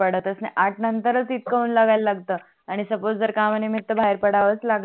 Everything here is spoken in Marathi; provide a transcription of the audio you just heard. आठ नंतरच इथक उन लागायला लागत आणि suppose जर कामाणी मी तर बाहेर पडाव लागत नाही